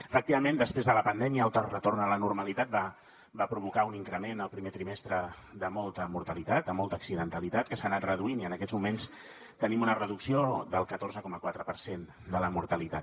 efectivament després de la pandèmia el retorn a la normalitat va provocar un increment al primer trimestre de molta mortalitat de molta accidentalitat que s’ha anat reduint i en aquests moments tenim una reducció del catorze coma quatre per cent de la mortalitat